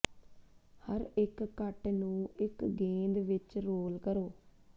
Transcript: ਹਰ ਇੱਕ ਕੱਟ ਨੂੰ ਇੱਕ ਗੇਂਦ ਵਿੱਚ ਰੋਲ ਕਰੋ